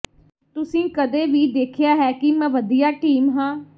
ਤੁਸੀਂ ਕਦੇ ਵੀ ਦੇਖਿਆ ਹੈ ਕਿ ਮੈਂ ਵਧੀਆ ਟੀਮ ਹਾਂ